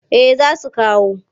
Eh za su kawo.